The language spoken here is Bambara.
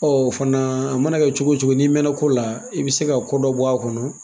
O fana, a mana kɛ cogo cogo n'i mɛn ko la, i bɛ se ka ko dɔ bɔ a kɔnɔ.